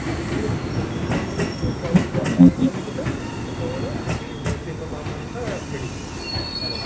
ଠିକ ଅଛି ତ ଯୋଉ time ରେ ସରିଯିବ policy ଟା ସେତେବେଳେ ଏଇ of amount ଟା ମିଳିଯିବ ଆଉ କଣ